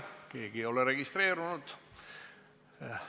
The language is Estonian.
Keegi ei ole registreerunud.